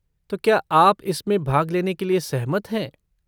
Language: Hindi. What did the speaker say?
तो, क्या आप इसमें भाग लेने के लिए सहमत हैं?